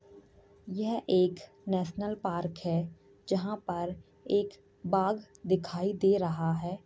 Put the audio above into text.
यह एक national park है जहाँ पर एक बाघ दिखाई दे रहा है।